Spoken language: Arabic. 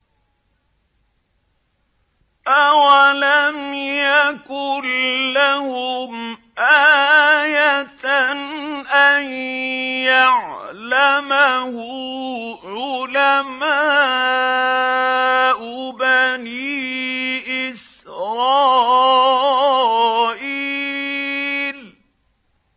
أَوَلَمْ يَكُن لَّهُمْ آيَةً أَن يَعْلَمَهُ عُلَمَاءُ بَنِي إِسْرَائِيلَ